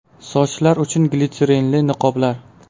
Sochlar uchun glitserinli niqoblar.